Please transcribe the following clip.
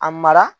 A mara